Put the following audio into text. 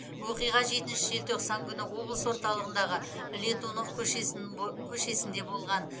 оқиға жетінші желтоқсан күні облыс орталығындағы летунов көшесінде болған